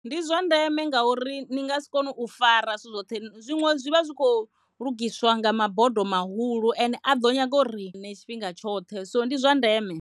Ndi zwa ndeme ngauri ni ngasi kone u fara zwithu zwoṱhe zwiṅwe zwi vha zwi kho lugisiwa nga mabodo mahulu ende a ḓo nyaga rine tshifhinga tshoṱhe so ndi zwa ndeme.